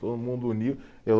Todo mundo uniu, eu